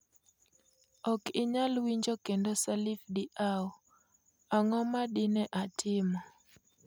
Ok inyal winjo kendo Salif Diao: Ang'o ma dine atimo?